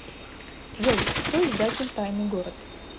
джой кто издатель тайный город